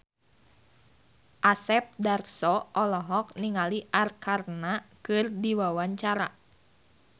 Asep Darso olohok ningali Arkarna keur diwawancara